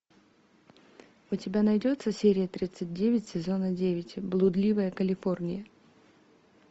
у тебя найдется серия тридцать девять сезона девять блудливая калифорния